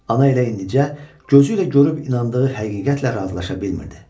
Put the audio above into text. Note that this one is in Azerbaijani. Ana elə indicə gözü ilə görüb inandığı həqiqətlə razılaşa bilmirdi.